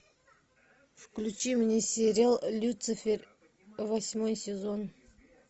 включи мне сериал люцифер восьмой сезон